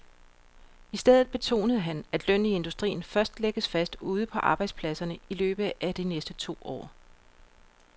I stedet betonede han, at lønnen i industrien først lægges fast ude på arbejdspladserne i løbet af de næste to år.